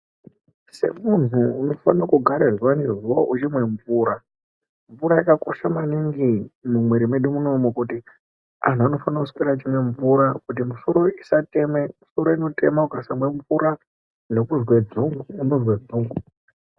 Semuntu unofane kugara zuwa ngezuwa uchimwe mvura, mvura yakakosha maningi mumwiri medu munomu kuti antu anofanire kuswera echimwe mvura kuti misoro isatema, misoro inotema ukasamwe mvura nekuzwe dzungu unozwe dzungu.